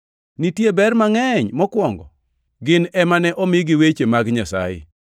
Nitie ber mangʼeny! Mokwongo, gin ema ne omigi wechegi mag Nyasaye.